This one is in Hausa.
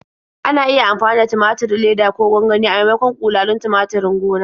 Ana iya amfani da tumaturin leda ko gwangwani a maimakon ƙulalin tumaturin gona.